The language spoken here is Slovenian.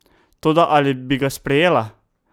Toda ali bi ga sprejela?